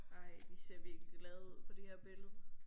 Ej de ser virkelig glade ud på det her billede